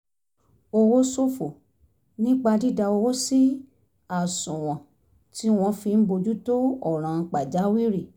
owó ṣòfò nípa dídá owó sí àṣùwọ̀n tí wọ́n fi ń bójú tó ọ̀ràn pàjáwìrì